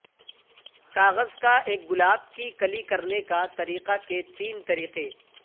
کاغذ کا ایک گلاب کی کلی کرنے کا طریقہ کے تین طریقے